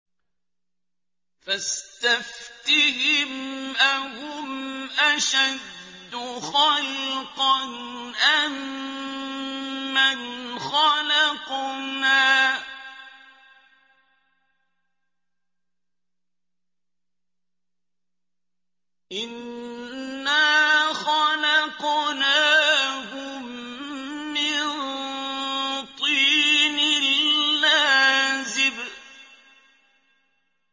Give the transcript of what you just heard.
فَاسْتَفْتِهِمْ أَهُمْ أَشَدُّ خَلْقًا أَم مَّنْ خَلَقْنَا ۚ إِنَّا خَلَقْنَاهُم مِّن طِينٍ لَّازِبٍ